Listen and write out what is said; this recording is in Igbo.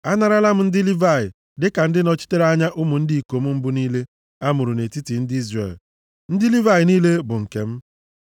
“Anarala m ndị Livayị dịka ndị nọchitere anya ụmụ ndị ikom mbụ niile a mụrụ nʼetiti ndị Izrel. Ndị Livayị niile bụ nke m.